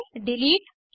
अब फाइल को सेव करें